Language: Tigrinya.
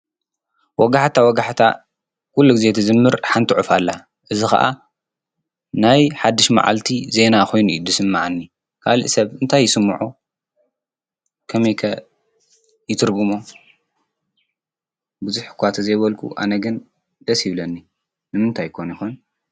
ወጋሕታ ወጋሕታ ኲሉጊዜት ዝምር ሓንቲ ዑፍ ኣላ እዝ ኸዓ ናይ ሓድሽ መዓልቲ ዜይና ኾይኑ ይ ድስም መዓኒ ካልእ ሰብ እንታይ ይስምዖ ከመከ ይትርግሞ ብዙሕኳ ተ ዘይበልኩ ኣነግን ደስ ይብለኒ ንምንታይኮን ይኾን?